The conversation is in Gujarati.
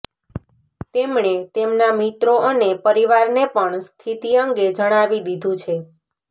તેમણે તેમના મિત્રો અને પરિવારને પણ સ્થિતિ અંગે જણાવી દીધું છે